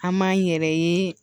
An m'an yɛrɛ ye